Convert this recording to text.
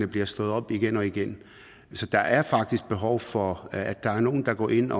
bliver slået op igen og igen så der er faktisk behov for at der er nogle der går ind